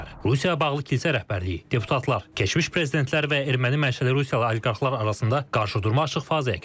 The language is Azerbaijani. Rusiyaya bağlı kilsə rəhbərliyi, deputatlar, keçmiş prezidentlər və erməni mənşəli Rusiyalı oliqarxlar arasında qarşıdurma açıq fazaya keçib.